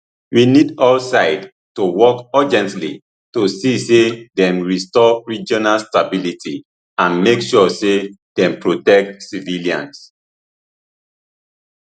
we need all sides to work urgently to see say dem restore regional stability and make sure say dem protect civilians